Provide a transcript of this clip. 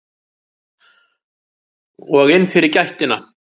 Og inn fyrir gættina.